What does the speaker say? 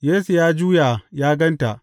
Yesu ya juya ya gan ta.